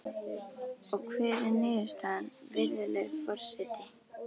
Og hver er niðurstaðan, virðulegi forseti?